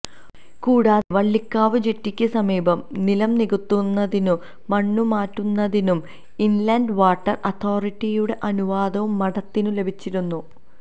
കൂടാതെ വള്ളിക്കാവ് ജെട്ടിയ്ക്ക് സമീപം നിലം നികത്തുന്നതിനു മണ്ണുമാറ്റുന്നതിനു ഇന്ലന്റ് വാട്ടര് അതോരിറ്റിയുടെ അനുവാദവും മഠത്തിനു ലഭിച്ചിരുന്നു